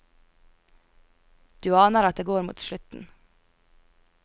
Du aner at det går mot slutten.